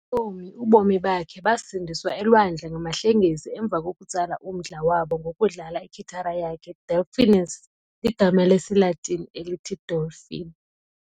Ngokwentsomi, ubomi bakhe basindiswa elwandle ngamahlengesi emva kokutsala umdla wabo ngokudlala ikhithara yakhe, 'Delphinus' ligama lesiLatini elithi 'dolphin'.